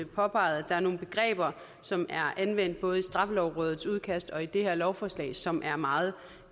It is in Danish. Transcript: påpeget at der er nogle begreber som er anvendt både i straffelovrådets udkast og i det her lovforslag som er meget